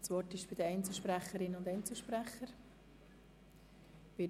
Somit haben die Einzelsprecherinnen und Einzelsprecher das Wort.